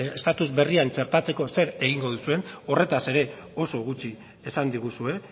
estatus berria txertatzeko zer egingo duzuen horretaz ere oso gutxi esan diguzue